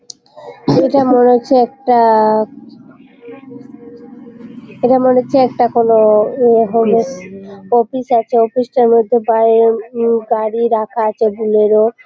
এটা মনে হয়েছে একটা এটা মনে হচ্ছে একটা কোনো হবিস অফিস আছে। একটা অফিস টার মধ্যে বাইরে উ গাড়ি রাখা আছে বুলেরো ।